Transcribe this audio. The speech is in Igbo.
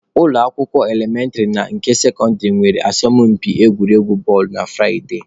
Ụlọ akwụkwọ elementịrị na nke sekọndịrị nwere asọmụmpi egwuregwu bọọlụ na Furaịde.